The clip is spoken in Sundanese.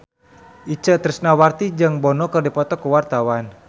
Itje Tresnawati jeung Bono keur dipoto ku wartawan